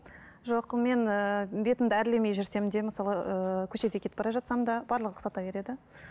жоқ мен ііі бетімді әрлемей жүрсем де мысалы ыыы көшеде кетіп бара жатсам да барлығы ұқсата береді